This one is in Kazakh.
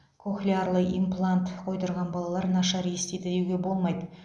кохлеарлы имплант қойдырған балалар нашар естиді деуге болмайды